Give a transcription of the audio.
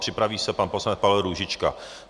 Připraví se pan poslanec Pavel Růžička.